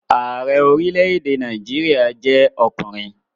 Ààrẹ orílẹ̀-èdè Nàìjíríà jẹ́ ọkùnrin